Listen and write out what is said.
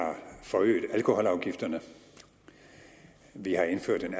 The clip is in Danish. forøget alkoholafgifterne vi har indført en